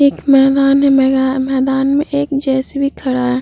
एक मैदान है। मेद-- मैदान में एक जे.सी.बी. खड़ा है।